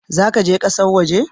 Za ka je ƙasar waje?